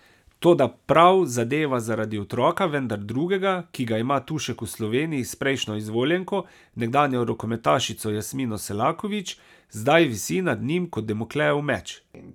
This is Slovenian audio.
Toda prav zadeva zaradi otroka, vendar drugega, ki ga ima Tušek v Sloveniji s prejšnjo izvoljenko, nekdanjo rokometašico Jasmino Selaković, zdaj visi nad njim kot damoklejev meč.